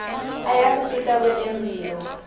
ayasisita kwetemphilo